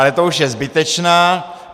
Ale to už je zbytečná.